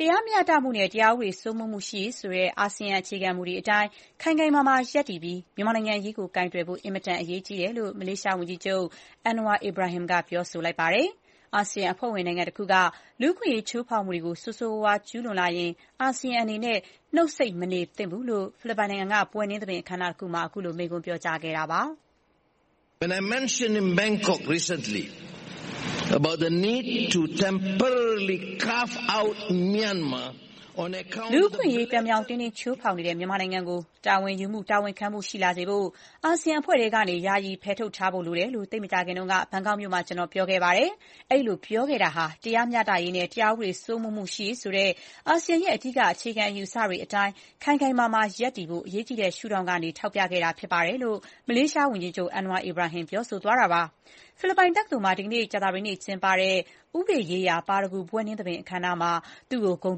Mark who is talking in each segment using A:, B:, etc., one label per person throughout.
A: တရားမျှတမှုနဲ့ တရားဥပဒေ စိုးမိုးမှုရှိရေး ဆိုတဲ့ အာဆီယံ အခြေခံမူတွေ အတိုင်း ခိုင်ခိုင်မာမာ ရပ်တည်ပြီး မြန်မာနိုင်ငံအရေး ကိုင်တွယ်ဖို့ အင်မတန် အရေးကြီးတယ်လို့ မလးရှား ဝန်ကြီးချုပ် Anwar Ibrahim က ပြောလိုက်ပါတယ်။ အာဆီယံအဖွဲ့ဝင် နိုင်ငံတခုက လူ့အခွင့်အရေး ချိုးဖောက်မှုတွေကို ဆိုးဆိုးရွားရွား ကျူးလွန်လာရင် အာဆီယံအနေနဲ့ နှုတ်ဆိတ်မနေသင့်ဘူးလို့ ဖိလစ်ပိုင်နိုင်ငံက ဘွဲ့နှင်းသဘင်အခမ်းအနားတခုမှာ ခုလို မိန့်ခွန်းပြောကြားခဲ့ပါတယ်။ “
B: လူ့အခွင့်အရေး ပြောင်ပြောင်တင်းတင်း ခ
A: ျိုးဖောက်နေတဲ့ မြန်မာနိုင်ငံကို တာဝန်ယူမှု တာဝန်ခံမှု ရှိလာစေဖို့ အာဆီယံ အဖွဲ့ထဲ ကနေ ယာယီ ဖယ်ထုတ်ထားဖို့ လိုတယ်လို့ သိပ်မကြာခင်က ဘန်ကောက်မြို့မှာ ကျနော် ပြောခဲ့ပါတယ်။ အဲ့ဒီလို ပြောခဲ့တာဟာ တရားမျှတရေး နဲ့ တရားဥပဒေ စိုးမိုးမှု ရှိရေး ဆိုတဲ့ အာဆီယံရဲ့ အဓိက အခြေခံအယူအဆတွေ အတိုင်း ခိုင်ခိုင်မာမာ ရပ်တည်ဖို့ အရေးကြီးတဲ့ ရှုထောင့်ကနေ ကျနော် ထောက်ပြခဲ့တာ ဖြစ်ပါတယ်။” လို့ မလေးရှား ဝန်ကြီးချုပ် Anwar Ibrahim ကပြောကြားခဲ့တာပါ။ ဖိလစ်ပိုင် တက္ကသိုလ်မှာ ဒီကနေ့ ကြာသပတေးနေ့ ကျင်းပတဲ့ ဥပဒေရေးရာ ပါရဂူ ဘွဲ့နှင်းသဘင် အခမ်းအနားမှာ သူ့ကို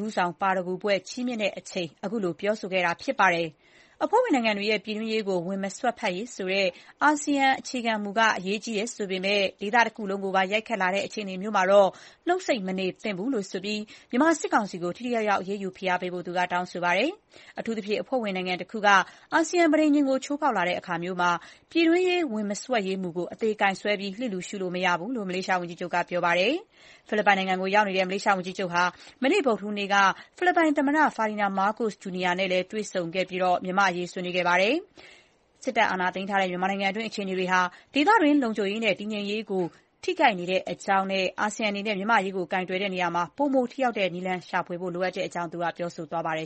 A: ဂုဏ်ထူးဆောင် ပါရဂူဘွဲ့ ချီးမြှင့်ချိန်မှာ သူက မိန့်ခွန်းပြောခဲ့တာဖြစ်ပါတယ်။ အဖွဲ့ဝင်နိုင်ငံတွေရဲ့ ပြည်တွင်းရေးကို ဝင်မစွက်ဖက်ရေး ဆိုတဲ့ အာဆီယံအခြေခံမူက အရေးကြီးပေမဲ့ ဒေသတခုလုံးကိုပါ ရိုက်ခတ်လာတဲ့ အခြေအနေမျိုးမှာတော့ နှုတ်ဆိတ်မနေသင့်ဘူးလို့ ဆိုပြီး မြန်မာစစ်ကောင်စီကို ထိထိရောက်ရောက် အရေးယူ ဖိအားပေးဖို့ သူက တောင်းဆိုပါတယ်။ အထူးသဖြင့် အဖွဲ့ဝင်နိုင်ငံ တခုက အာဆီယံ ပဋိဉာဉ်ကို ချိုးဖောက်လာတဲ့အခါမျိုးမှာတော့ ပြည်တွင်းရေး ဝင်မစွက်ရေးမူ ကို အသေ ကိုင်ဆွဲပြီး လစ်လျူရှုလို့ မရဘူးလို့ မလေးရှား ဝန်ကြီးချုပ်က ပြောပါတယ်။ ဖိလစ်ပိုင်နိုင်ငံကို ရောက်နေတဲ့ မလေးရှား ဝန်ကြီးချုပ်ဟာ မနေ့ ဗုဒ္ဓဟူးနေ့က ဖိလစ်ပိုင်သမ္မတ Ferdinand Marcos Jr နဲ့တွေ့ဆုံချိန်မှာလည်း မြန်မာ့အရေး ပြောဆိုခဲ့ပါတယ်။ စစ်တပ်အာဏာသိမ်းထားတဲ့ မြန်မာနိုင်ငံတွင်း အခြေအနေတွေဟာ ဒေသတွင်း လုံခြုံရေးနဲ့ တည်ငြိမ်အေးချမ်းရေးကို ထိခိုက်နေတဲ့အကြောင်း ပြောဆိုခဲ့ပြီး အာဆီယံအနေနဲ့ မြန်မာ့အရေး ကိုင်တွယ်ရာမှာ ပိုမိုထိရောက်တဲ့ နည်းလမ်းသစ် ရှာဖွေဖို့ လိုအပ်တဲ့အကြောင်း ပြောဆိုခဲ့ပါတယ်